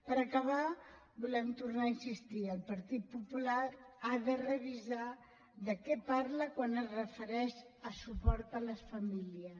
per acabar volem tornar a insistir el partit popular ha de revisar de què parla quan es refereix a suport a les famílies